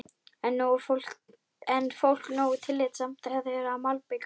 Er fólk nógu tillitsamt þegar þið eruð að malbika?